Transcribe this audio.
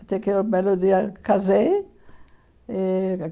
Até que, um belo dia, casei. E